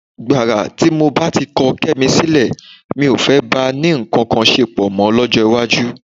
Gbàrà tí mo bá ti kọ Kẹ́mi sílẹ̀, mi ò fẹ́ bá a ní nǹkan ṣepọ̀ mọ́ lọ́jọ́ iwájú.